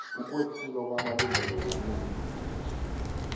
ukwephulwa kwamalungelo wobuntu